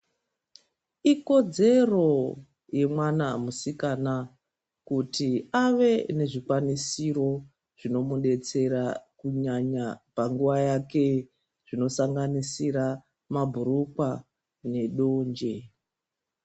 Ikodzero yemwana musikana kuti ave nezvikwanisiro zvinomudetsera kunyanya panguwa yake zvinosanganisira mabhurukwa nedonje.